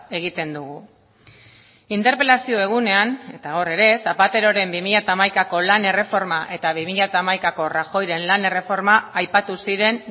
egiten dugu interpelazio egunean eta hor ere zapateroren bi mila hamaikako lan erreforma eta bi mila hamaikako rajoyren lan erreforma aipatu ziren